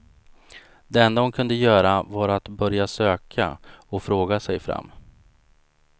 Det enda hon kunde göra var att börja söka och fråga sig fram.